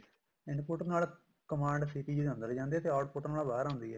input ਨਾਲ command ਸੀ CPU ਨਾਲ ਅੰਦਰ ਜਾਂਦੇ output ਨਾਲ ਬਾਹਰ ਆਉਂਦੀ ਆ